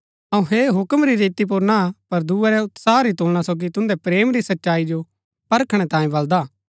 अऊँ ऐह हूक्म री रीति पुर ना पर दूये रै उत्साह री तुलना सोगी तुन्दै प्रेम री सच्चाई जो परखणै तांयें बलदा हा